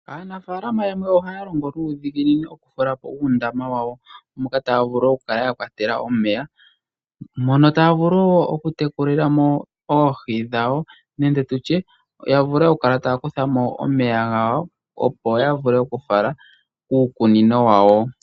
Aanafalama yamwe ohaya longo nuudhiginini okutulapo uundama wawo moka taya vulu oku kala ya kwatela omeya mono taya vulu noku tekulilamo oohi dhawo nenge tutye ya vule oku kala taya kutha mo omeya gawo opo ya vule oku fala kuukunino wawo.